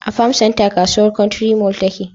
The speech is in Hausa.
a farm center kasuwar country mall tace